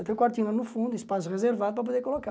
Tem um quartinho lá no fundo, espaço reservado para poder colocar.